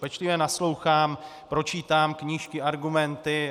Pečlivě naslouchám, pročítám knížky, argumenty.